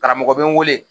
Karamɔgɔ bɛ n wele